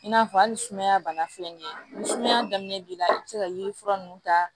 I n'a fɔ hali sumaya bana filɛ nin ye ni sumaya daminɛ b'i la i bɛ se ka yiri fura ninnu ta